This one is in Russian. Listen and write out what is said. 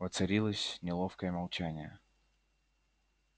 воцарилось неловкое молчание